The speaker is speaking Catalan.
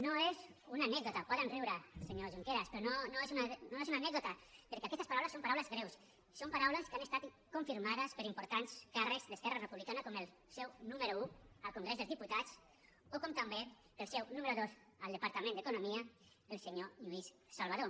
no és una anècdota poden riure senyor junqueras però no és una anècdota perquè aquestes paraules són paraules greus són paraules que han estat confirmades per importants càrrecs d’esquerra republicana com el seu número un al congrés dels diputats o com també el seu número dos al departament d’economia el senyor lluís salvadó